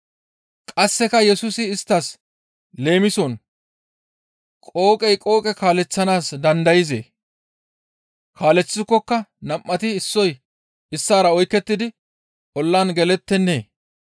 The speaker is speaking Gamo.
Qasseka Yesusi isttas leemison, «Qooqey qooqe kaaleththanaas dandayzee? Kaaleththikokka nam7ati issoy issaara oykettidi ollan gelettennee?